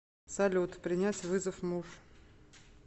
салют принять вызов муж